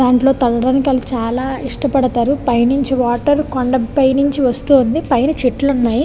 చాల ఇష్టపడతారు పైనుంచి వాటర్ కొండ పైనుంచి వస్తుంది పైన చెట్లు ఉన్నాయి.